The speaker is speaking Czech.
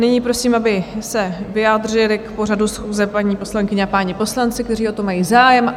Nyní prosím, aby se vyjádřili k pořadu schůze paní poslankyně a páni poslanci, kteří o to mají zájem.